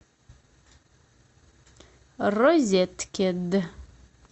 розеткед